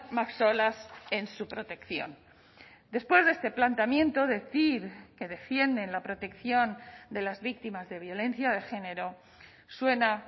más solas en su protección después de este planteamiento decir que defienden la protección de las víctimas de violencia de género suena